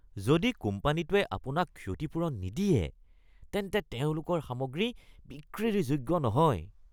যদি কোম্পানীটোৱে আপোনাক ক্ষতিপূৰণ নিদিয়ে তেন্তে তেওঁলোকৰ সামগ্ৰী বিক্ৰীৰ যোগ্য নহয়